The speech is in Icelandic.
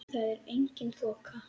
Þar er engin þoka.